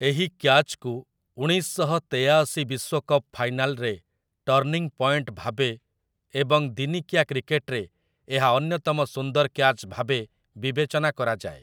ଏହି କ୍ୟାଚ୍‌କୁ ଉଣେଇଶ ଶହ ତେୟାଶି ବିଶ୍ୱକପ୍ ଫାଇନାଲରେ ଟର୍ଣ୍ଣିଂ ପଏଣ୍ଟ ଭାବେ ଏବଂ ଦିନିକିଆ କ୍ରିକେଟରେ ଏହା ଅନ୍ୟତମ ସୁନ୍ଦର କ୍ୟାଚ୍ ଭାବେ ବିବେଚନା କରାଯାଏ ।